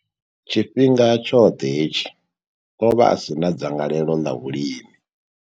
Tshifhinga tshoṱhe hetshi, o vha a si na dzangalelo ḽa vhulimi.